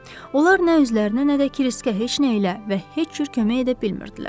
Onlar nə özlərini nə də Kriskə heç nə ilə və heç cür kömək edə bilmirdilər.